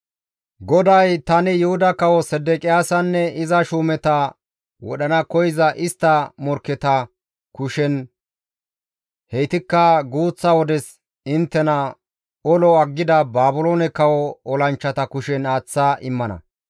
GODAY, «Tani Yuhuda Kawo Sedeqiyaasanne iza shuumeta istti wodhana koyza istta morkketa kushen heytikka guuththa wodes inttena olo aggida Baabiloone kawo olanchchata kushen aaththa immana.